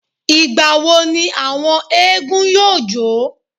Ìgbà wo ni àwọn éégún yóò jó?